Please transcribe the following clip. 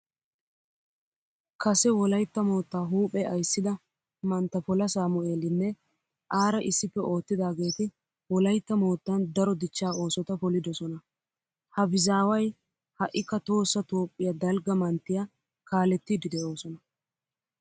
Kase wolaytta moottaa huuphe ayssida mantta pola saamu'eelinne aara issippe oottidaageeti wolaytta moottan daro dichchaa oosota polidosona. Habizaaway ha'ikka tohossa toophphiya dalgga manttiya kaalettiiddi de'oosona.